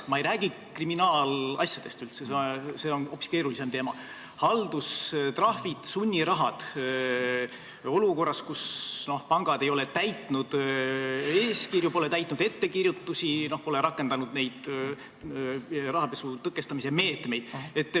Ma ei räägi üldse kriminaalasjadest, see on hoopis keerulisem teema, ma räägin haldustrahvist ja sunnirahast olukorras, kus pangad ei ole täitnud eeskirju, ei ole täitnud ettekirjutusi, ei ole rakendanud rahapesu tõkestamise meetmeid.